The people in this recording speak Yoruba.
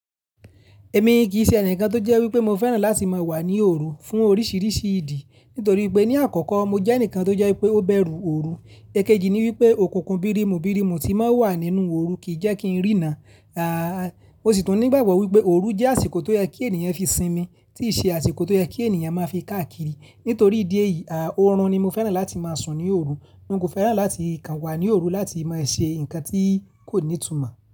Èmi kì í ṣe ẹnìkan tó jẹ́ wípé mo fẹ́ràn láti máa wà ní òru fún oríṣìíríṣìí ìdí. Nítorí pé ní àkọ́kọ́ mo jẹ́ ẹnìkan tó jẹ́ wípé ó bẹru òru. Ẹ̀kejì ni wípé òkùnkùn birimu birimu tí ń maa wà nínú òru kì í jẹ́ kí n rína. Aà, mó sì tún ní ìgbàgbọ́ wípé òru jẹ́ àsìkò tó yẹ kí ènìyàn fi sinmi, kì í ṣe àsìkò tó yẹ kí ènìyàn máa fi káàkiri. Nítorí ìdí èyí, aà, òórùn ni mo fẹ́ràn láti máa sùn ní òru. N kò fẹ́ràn láti kàn wà ní òru láti máa ṣe nǹkan tí kò ní ìtumọ̀